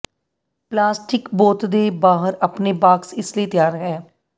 plastic ਬੋਤ ਦੇ ਬਾਹਰ ਆਪਣੇ ਬਾਕਸ ਇਸ ਲਈ ਤਿਆਰ ਹੈ